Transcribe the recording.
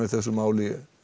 þessu máli